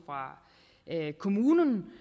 fra kommunen